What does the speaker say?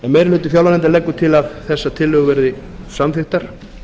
meiri hluti fjárlaganefndar leggur til að þessar tillögur verði samþykktar